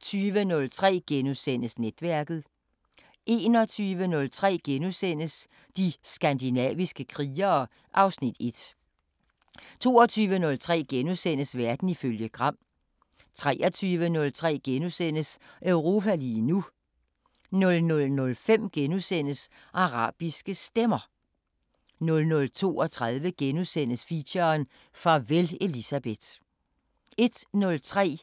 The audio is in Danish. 20:03: Netværket * 21:03: De skandinaviske krigere (Afs. 1)* 22:03: Verden ifølge Gram * 23:03: Europa lige nu * 00:05: Arabiske Stemmer * 00:32: Feature: Farvel Elisabeth * 01:03: